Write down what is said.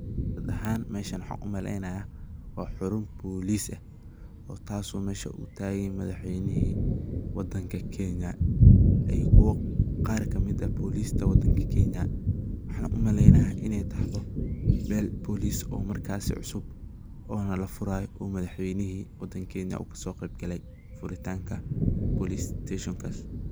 Guud ahaan meshan waxan u malaynaya, Ina xaruun Police eeh oo kasoo mesha oo taganyahay madaxweeyna wadanga keenya ayuko Qaar kamit eeh police ka wadanga keenya waxan u malaynaya inay tahtooh meel poliss oo markas so cusub ona lafurayo oo madaxweyni wadanga keenya kasi qeebkali furitanga police station cusub.